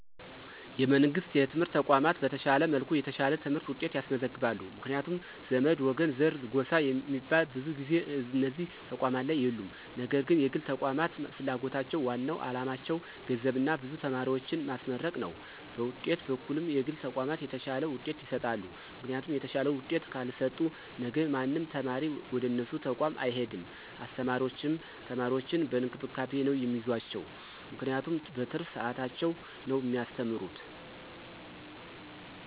የመንግሥት የትምህርት ተቋማት በተሻለ መልኩ የተሻለ የትምህርት ውጤት ያስመዘግባሉ ምክንያቱም ዘመድ፣ ወገን፣ ዘር፣ ጎሳ ሚባል ብዙ ጊዜ እነዚህ ተቋማት ላይ የሉም ነገር ግን የግል ተቋማት ፍላጎታቸው ዋናው አላማቸው ገንዘብና ብዙ ተማሪዎችን ማስመረቅ ነው በውጤት በኩልም የግል ተቋማት የተሻለ ውጤት ይሰጣሉ ምክንያቱም የተሻለ ውጤት ካልሰጡ ነገ ማንም ተማሪ ወደነሱ ተቋም አይሄድም አስተማሪዎችም ተማሪዎችን በእንክብካቤ ነው ሚይዟቸው ምክንያቱም በትርፍ ሰዓታቸው ነው ሚያስተምሩት።